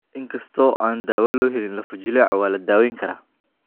Inkastoo aan dawo loo helin lafo-jileecu, waa la daweyn karaa.